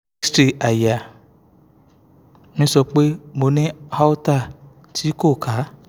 x-ray àyà mi sọ pé mo ní aorta tí ko ka